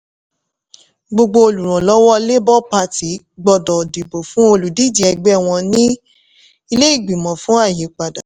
gbogbo olùrànlọ́wọ́ labour party gbọ́dọ̀ dìbò fún olùdíje ẹgbẹ́ wọn ní ilé ìgbìmọ̀ fún àyípadà.